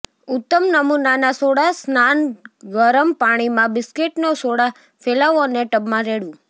ઉત્તમ નમૂનાના સોડા સ્નાન ગરમ પાણીમાં બિસ્કિટનો સોડા ફેલાવો અને ટબમાં રેડવું